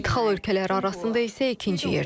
İdxal ölkələri arasında isə ikinci yerdədir.